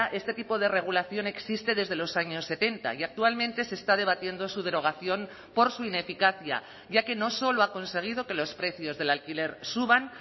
este tipo de regulación existe desde los años setenta y actualmente se está debatiendo su derogación por su ineficacia ya que no solo ha conseguido que los precios del alquiler suban